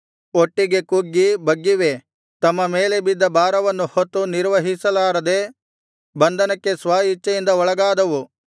ಒಟ್ಟಿಗೆ ಕುಗ್ಗಿ ಬಗ್ಗಿವೆ ತಮ್ಮ ಮೇಲೆ ಬಿದ್ದ ಭಾರವನ್ನು ಹೊತ್ತು ನಿರ್ವಹಿಸಲಾರದೆ ಬಂಧನಕ್ಕೆ ಸ್ವಇಚ್ಛೆಯಿಂದ ಒಳಗಾದವು